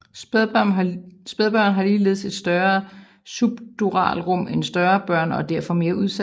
Spædbørn har ligeledes et større subduralrum end større børn og er derfor mere udsatte